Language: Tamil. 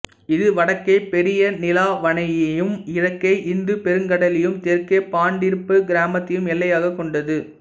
இது வடக்கே பெரிய நீலாவணையையும் கிழக்கே இந்துப் பெருங்கடலையும் தெற்கே பாண்டிருப்பு கிராமத்தையும் எல்லையாகக் கொண்டது